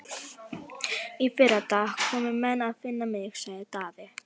Í fyrradag komu menn að finna mig, sagði Daði.